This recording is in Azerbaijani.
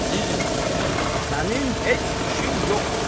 Əzizim, sənin heç işin yoxdur.